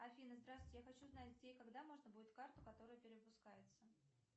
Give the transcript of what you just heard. афина здравствуйте я хочу знать где и когда можно будет карту которая перевыпускается